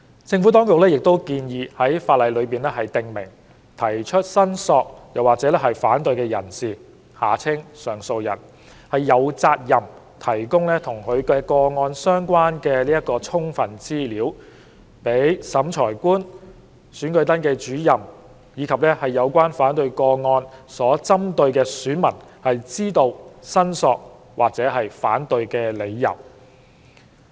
政府當局亦建議在法例中訂明，提出申索或反對的人士有責任提供與其個案相關的充分資料，讓審裁官、選舉登記主任及有關反對個案所針對的選民知道申索或反對的理由。